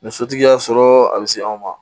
Ni sotigi y'a sɔrɔ a bɛ se anw ma